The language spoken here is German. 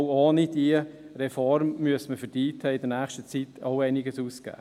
Auch ohne diese Reform müsste man für die IT in nächster Zeit einiges ausgeben.